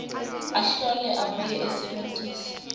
ahlole abuye asebentise